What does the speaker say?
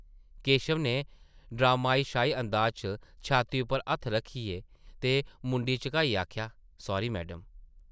केशव नै ड्रामाई शाही अंदाज च छाती उप्पर हत्थ रक्खियै ते मुंडी झकाइयै आखेआ ,‘‘ सॉरी मैडम ।’’